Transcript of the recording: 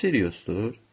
Bu Siriusdur?